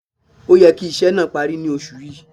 Ó yẹ kí iṣẹ́ náà parí ní Oṣù yìí